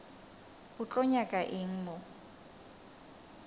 o tlo nyaka eng mo